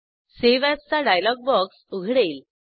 save as चा dialog box उघडेल